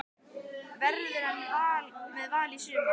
Verður hann með Val í sumar?